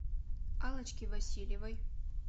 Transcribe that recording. аллочки васильевой